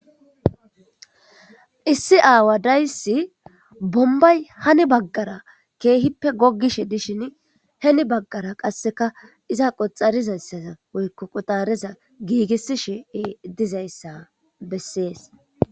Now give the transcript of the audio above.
issi aawa dayssi bombay hani baggara keehippe goggishe dishin heni baggara qasseka iza qoxarizayssaza woykko qutareza giigisishe dizayssa bessees